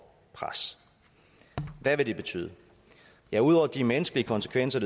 pres hvad vil det betyde ja ud over de menneskelige konsekvenser